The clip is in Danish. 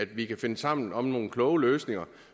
vi kan finde sammen om nogle kloge løsninger